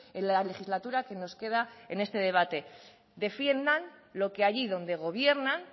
en la legislatura que nos queda en este debate defiendan lo que allí donde gobiernan